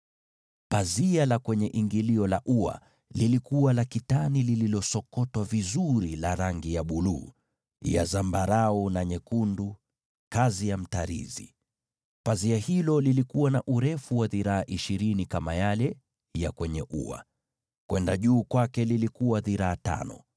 Pazia la ingilio la ua lilikuwa la nyuzi za rangi ya buluu, za zambarau, na za rangi nyekundu pamoja na kitani iliyosokotwa vizuri, kazi ya mtarizi. Pazia hilo lilikuwa na urefu wa dhiraa ishirini kama zile za kwenye ua, na kimo chake kilikuwa dhiraa tano,